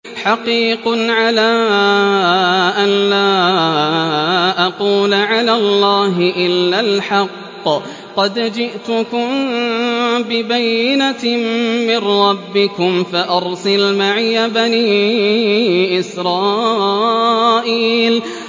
حَقِيقٌ عَلَىٰ أَن لَّا أَقُولَ عَلَى اللَّهِ إِلَّا الْحَقَّ ۚ قَدْ جِئْتُكُم بِبَيِّنَةٍ مِّن رَّبِّكُمْ فَأَرْسِلْ مَعِيَ بَنِي إِسْرَائِيلَ